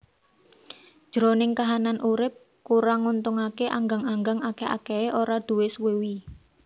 Jroning kahanan urip kurang nguntungaké anggang anggang akèh akèhé ora duwé sewiwi